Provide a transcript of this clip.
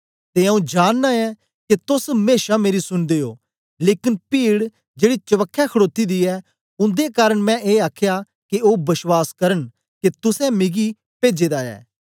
ते आऊँ जानना ऐं के तोस मेशा मेरी सुन्दे ओ लेकन पीड जेड़ी चवखे खडोती दी ऐ उन्दे कारन मैं ए आखया के ओ बश्वास करन के तुसें मिगी पेजे दा ऐ